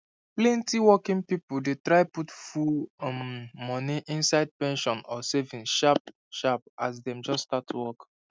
plenty working people dey try put full um money inside pension or savings sharp sharp as dem just start work